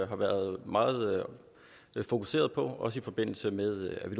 har været meget fokuseret på også i forbindelse med at vi